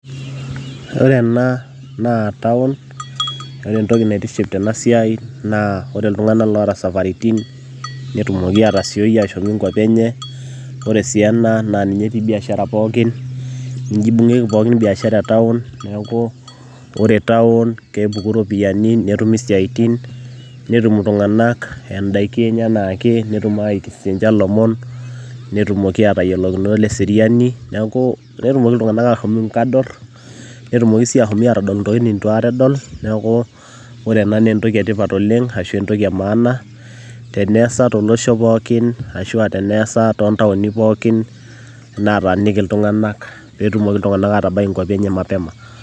Ore ena naa town ore entoki naitiship tene siai naa ore iltung'anak loota isafaritin netumoki aatasioi ashomoita inkuapi enye, ore sii ena naa ninye etii biashara pookin ninye imbung'ieki pookin biashara e town neeku ore town kepuku iropiyiani, netumi isiaitin netum iltung'anak indaiki enye enaake netum ayaiki sininche ilomon, netumoki aatayiolokinoto ile seriani neeku netum iltung'anak aashom inkadorr netumoki sii ashom aadol intokitin nitu akata edol, neeku ore ena naa entoki etipat oleng' ashu entoki e maana teneesa tolosho pookin arashu aa teneesa toontaoni pookin nataaniki iltung'anak pee etumoki iltung'anak atabaiki inkuapi enye mapema.